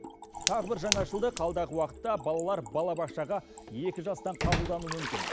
тағы бір жаңашылдық алдағы уақытта балалар балабақшаға екі жастан қабылдануы мүмкін